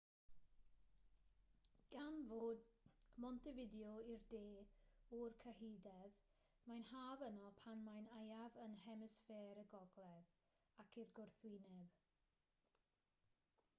gan fod montevideo i'r de o'r cyhydedd mae'n haf yno pan mae'n aeaf yn hemisffer y gogledd ac i'r gwrthwyneb